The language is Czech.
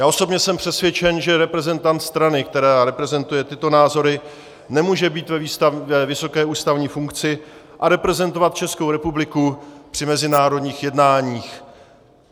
Já osobně jsem přesvědčen, že reprezentant strany, která reprezentuje tyto názory, nemůže být ve vysoké ústavní funkci a reprezentovat Českou republiku při mezinárodních jednáních.